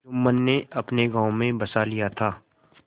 जुम्मन ने अपने गाँव में बसा लिया था